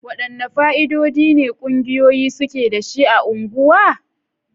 Wadanne fa'idodi ne ƙungiyoyi suke da shi ga unguwa?